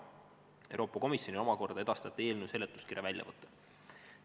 Euroopa Komisjonile omakorda edastati eelnõu seletuskirja väljavõte.